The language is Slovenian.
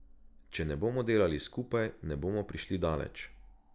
Če ne bomo delali skupaj, ne bomo prišli daleč.